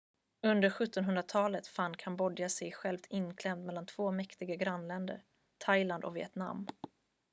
under 1700-talet fann kambodja sig självt inklämt mellan två mäktiga grannländer thailand och vietnam